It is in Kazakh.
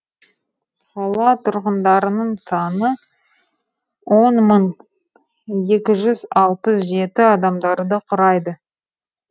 қала тұрғындарының саны он мың екі жүз алпыс жеті адамдарды құрайды